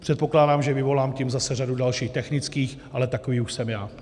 Předpokládám, že vyvolám tím zase řadu dalších technických, ale takový už jsem já.